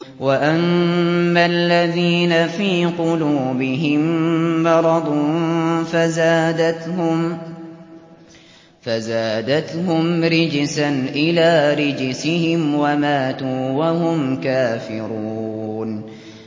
وَأَمَّا الَّذِينَ فِي قُلُوبِهِم مَّرَضٌ فَزَادَتْهُمْ رِجْسًا إِلَىٰ رِجْسِهِمْ وَمَاتُوا وَهُمْ كَافِرُونَ